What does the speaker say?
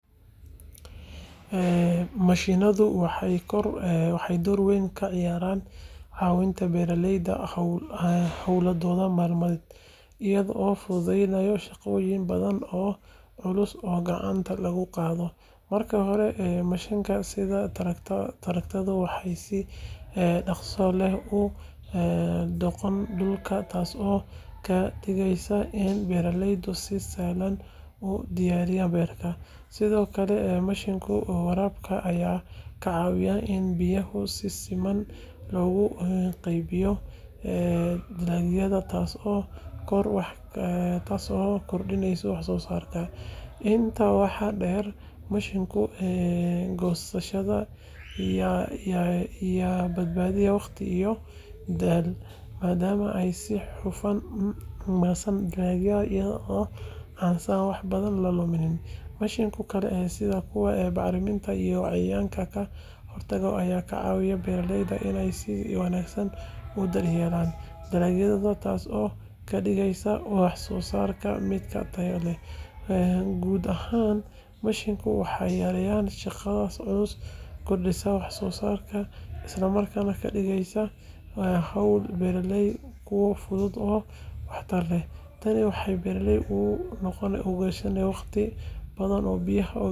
Mashiinadu waxay door weyn ka ciyaaraan caawinta beeralayda hawlahooda maalmeed, iyagoo fududeynaya shaqooyin badan oo culus oo gacanta lagu qabto. Marka hore, mashiinada sida tractor-ku waxay si dhaqso leh u qodaan dhulka, taasoo ka dhigaysa in beeralaydu si sahlan u diyaariyaan beeraha. Sidoo kale, mashiinada waraabka ayaa ka caawiya in biyaha si siman loogu qaybiyo dalagyada, taasoo kordhisa wax soo saarka. Intaa waxaa dheer, mashiinada goosashada ayaa badbaadiya waqti iyo dadaal, maadaama ay si hufan u goostaan dalagyada iyadoo aan wax badan la lumin. Mashiinada kale sida kuwa bacriminta iyo cayayaanka ka hortagga ayaa ka caawiya beeralayda inay si wanaagsan u daryeelaan dalagyadooda, taasoo ka dhigaysa wax soo saarku mid tayo leh. Guud ahaan, mashiinadu waxay yareeyaan shaqada culus, kordhiyaan wax soo saarka, isla markaana ka dhigaan hawlaha beeralayda kuwo fudud oo waxtar leh. Tani waxay beeralayda u oggolaanaysaa inay waqti badan ku bixiyaan qorsheynta iyo kobcinta beeraha, iyagoo helaya natiijooyin wanaagsan.